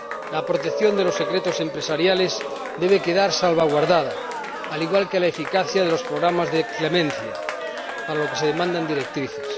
La protección de los secretos empresariales debe quedar salvaguardada, al igual que la eficacia de los programas de clemencia, para lo que se demandan directrices.